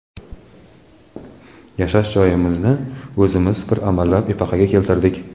Yashash joyimizni o‘zimiz bir amallab epaqaga keltirdik.